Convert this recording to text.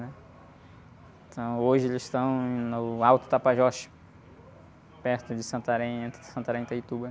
Então hoje eles estão no Alto Tapajós, perto de Santarém, entre Santarém e Itaituba, né?